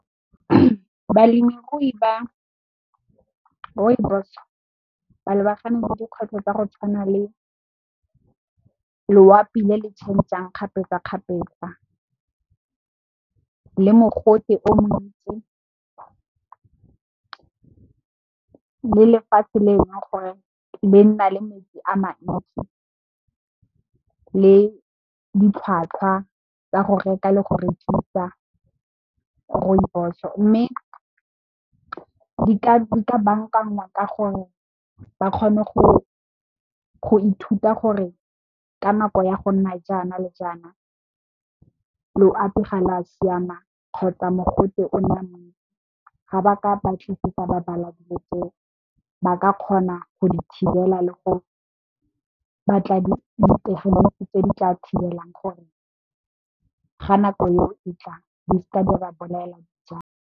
Balemirui ba Rooibos ba lebagane le dikgwetlho tsa go tshwana le loapi le le tšhenjang kgapetsa kgapetsa, le mogote o montsi, le lefatshe le e leng gore le nna le metsi a mantsi, le ditlhwatlhwa tsa go reka le go rekisa Rooibos. Mme, di ka bankangwa ka gore ba kgone go ithuta gore ka nako ya go nna jaana le jaana loapi ga la siama, kgotsa mogote o nna montsi. Ga ba ka batlisisa ba bala dilo tseo ba ka kgona go di thibela le go batla dithibelegi tse di tla thibelang gore ga nako eo e tla di se ka ba bolaela dijalo.